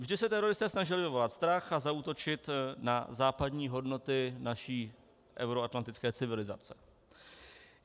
Vždy se teroristé snažili vyvolat strach a zaútočit na západní hodnoty naší euroatlantické civilizace.